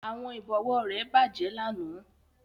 Àwọn ìbọ̀wọ́ rẹ̀ bàjẹ́ lánàá